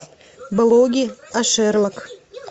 блоги о шерлок